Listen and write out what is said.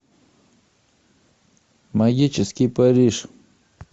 магический париж